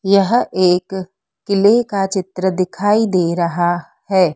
यह एक किले का चित्र दिखाई दे रहा है।